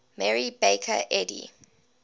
mary baker eddy